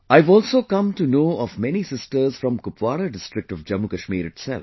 I have also come to know of many sisters from Kupawara district of JammuKashmir itself